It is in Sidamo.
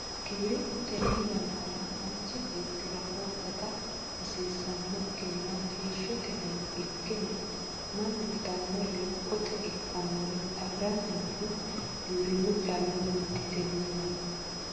Giwirinnu tene yannara manchi beettira horo gata hasiisanokkinna heeshshote hayyo ikke no mannu itanore lophote ikkannore afiranni noohu giwirinu callunniti tene yanna.